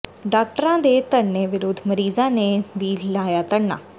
ਡਾਕਟਰਾਂ ਦੇ ਧਰਨੇ ਵਿਰੁੱਧ ਮਰੀਜ਼ਾਂ ਨੇ ਵੀ ਲਾਇਆ ਧਰਨਾ